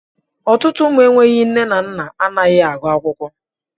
Ọtụtụ ụmụ enwe nne na nna anaghị agụ akwụkwọ.